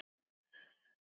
Ekki voru það mín orð!